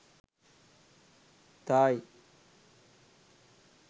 thai